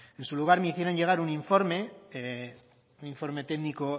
en su lugar me hicieron llegar un informe un informe técnico